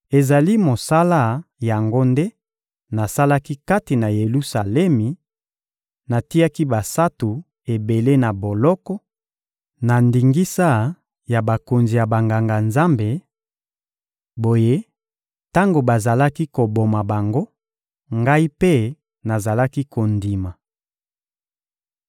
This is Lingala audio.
Ezali mosala yango nde nasalaki kati na Yelusalemi: natiaki basantu ebele na boloko, na ndingisa ya bakonzi ya Banganga-Nzambe; boye, tango bazalaki koboma bango, ngai mpe nazalaki kondima.